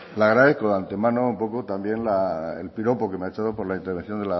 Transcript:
le agradezco de antemano un poco también el piropo que me ha echado por la intervención